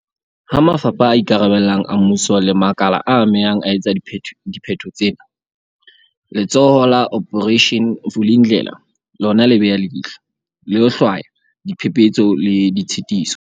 Ha mafapha a ikarabellang a mmuso le makala a amehang a etsa dipheto tsena, Letsholo la Operation Vuli ndlela lona le beha leihlo, le ho hlwaya diphephetso le ditshitiso.